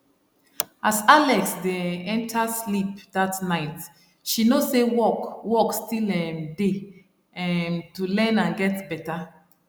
as alex dey um enter sleep that night she know say work work still um dey um to learn and get better